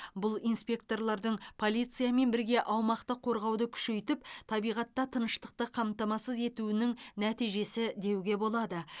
бұл инспекторлардың полициямен бірге аумақты қорғауды күшейтіп табиғатта тыныштықты қамтамасыз етуінің нәтижесі деуге болады